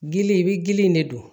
Gili i bi gili in de don